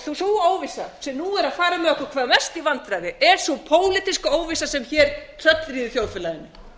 sú óvissa sem nú er að fara með okkur hvað mest í vandræði er sú pólitíska óvissa sem hér tröllríður þjóðfélaginu